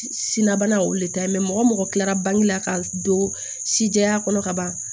Sinna bana o de ta ye mɔgɔ kilara bange la ka don si jɛya kɔnɔ ka ban